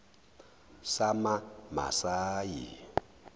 samamasayi